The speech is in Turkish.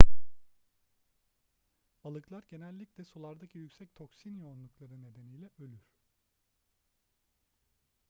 balıklar genellikle sulardaki yüksek toksin yoğunlukları nedeniyle ölür